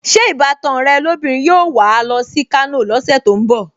Ṣé ìbátan ẹ lóbìnrin yóò wà á lọ sí Kano lọ́sẹ̀ tó ń bọ̀?